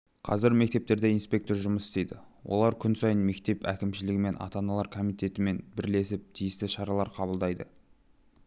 қазір мектептерде инспектор жұмыс істейді олар күн сайын мектеп әкімшілігімен ата-аналар комитетімен бірлесіп тиісті шаралар қабылдайды